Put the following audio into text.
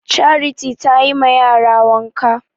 Charity tayi ma yara wanka